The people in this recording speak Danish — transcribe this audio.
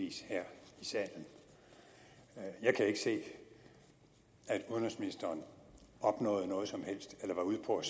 i salen jeg kan ikke se at udenrigsministeren opnåede noget som helst eller var ude på at